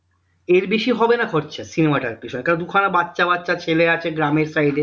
এর বেশি হবেনা খরচা cinema টার পিছনে কারণ দুখানা বাচ্চা বাচ্চা ছেলে আছে গ্রামের side এ